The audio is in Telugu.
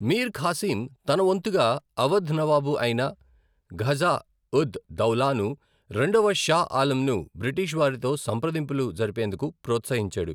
మీర్ ఖాసీం తన వంతుగా అవధ్ నవాబు అయిన షుజా ఉద్ దౌలాను, రెండవ షా ఆలంను బ్రిటిష్ వారితో సంప్రదింపులు జరిపేందుకు ప్రోత్సహించాడు.